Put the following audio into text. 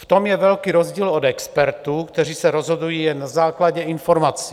V tom je velký rozdíl od expertů, kteří se rozhodují jen na základě informací.